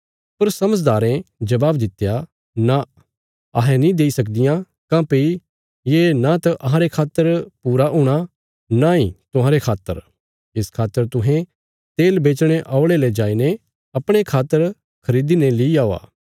पर समझदारें जबाब दित्या नां अहें नीं देई सकदियां काँह्भई ये न त अहांरे खातर पूरा हूणा नई तुहांरे खातर इस खातर तुहें तेल बेचणे औल़े ले जाईने अपणे खातर खरीदी ने ली औआ